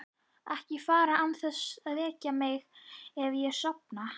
Ekki fara án þess að vekja mig ef ég sofna.